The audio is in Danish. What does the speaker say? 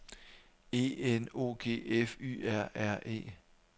E N O G F Y R R E